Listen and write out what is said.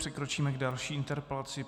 Přikročíme k další interpelaci.